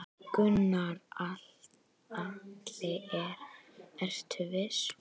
Gunnar Atli: Ertu viss?